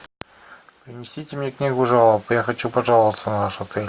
принесите мне книгу жалоб я хочу пожаловаться на ваш отель